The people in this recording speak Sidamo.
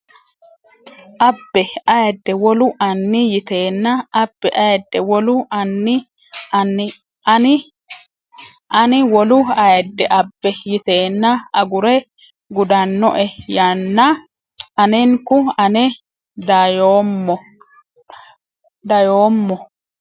abbe ayidde wolu Ani yiteenna abbe ayidde wolu Ani Ani wolu ayidde abbe yiteenna agure gudannoe yaanna anenku ane dayommo !